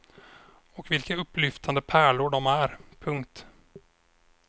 Och vilka upplyftande pärlor de är. punkt